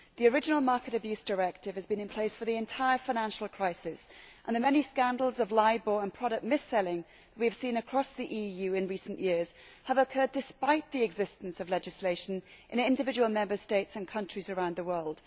The original Market Abuse Directive has been in place for the entire financial crisis and the many scandals of LIBOR and product mis selling that we have seen across the EU in recent years have occurred despite the existence of legislation in individual Member States and in countries around the world.